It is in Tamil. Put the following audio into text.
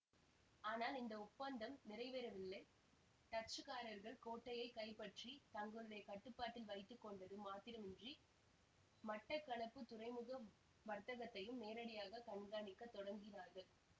ஆனால் இந்த ஒப்பந்தம் நிறைவேறவில்லை டச்சுக்காரர்கள் கோட்டையை கைப்பற்றி தங்களுடைய கட்டுப்பாட்டில் வைத்து கொண்டது மாத்திரமின்றி மட்டக்களப்புத் துறைமுக வர்த்தகத்தையும் நேரடியாக கண்காணிக்கத் தொடங்கினார்கள்